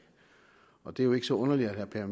og det er jo ikke så underligt at herre per